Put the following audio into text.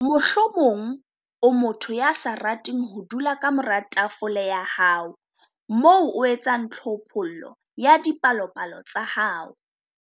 Mohlomong o motho ya sa rateng ho dula ka mora tafole ya hao moo o etsang tlhophollo ya dipalopalo tsa hao.